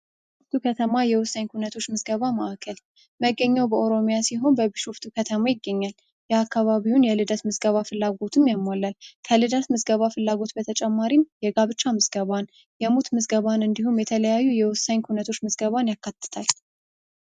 ቢሾፍቱ ከተማ የነዋሪዎች ምዝገባ ማዕከል መገኛው በኦሮሚያ ክልል ሲሆን በቢሾፍቱ ከተማ ይገኛል። የአካባቢውን የልደት መዝገባ ፍላጎትን ያሟላል ከልደት ምዝገባ ፍላጎት በተጨማሪ የሞት ምዝገባ ፣የጋብቻ ምዝገባ እንዲሁም የተለያዩ የወሳኝ ኩነቶች ምዝገባን ያካትታል።